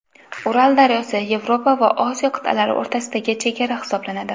Ural daryosi Yevropa va Osiyo qit’alari o‘rtasidagi chegara hisoblanadi.